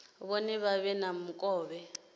vhone vha vhe na mukovhe